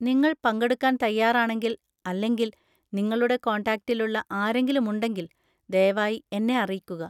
നിങ്ങൾ പങ്കെടുക്കാൻ തയ്യാറാണെങ്കിൽ അല്ലെങ്കിൽ നിങ്ങളുടെ കോൺടാക്റ്റിലുള്ള ആരെങ്കിലും ഉണ്ടെങ്കിൽ, ദയവായി എന്നെ അറിയിക്കുക.